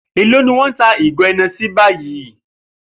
Èló ni wó̩n ń ta ìgò E̩ne̩sí báyìí?